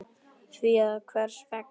Því að hvers vegna ekki?